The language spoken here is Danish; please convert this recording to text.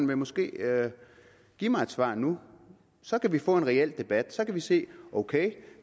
vil måske give mig et svar nu så kan vi få en reel debat så kan vi sige ok